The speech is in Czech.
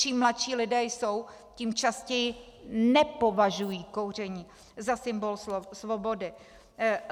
Čím mladší lidé jsou, tím častěji nepovažují kouření za symbol svobody.